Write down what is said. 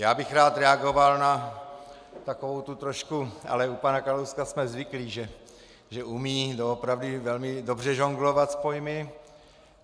Já bych rád reagoval na takovou tu trošku, ale u pana Kalouska jsme zvyklí, že umí doopravdy velmi dobře žonglovat s pojmy.